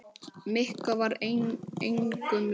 Mikka var engum lík.